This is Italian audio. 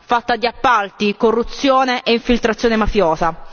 fatta di appalti, corruzione e infiltrazione mafiosa.